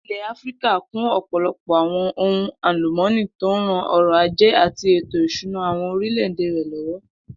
Ilè̩ Áfíríkà kún ò̩pò̩lo̩pò̩ ohun àlùmó̩nì tó ń ran o̩rò̩ ajé àti ètò ìs̩úná àwo̩n orílè̩-èdè rè̩ ló̩wó̩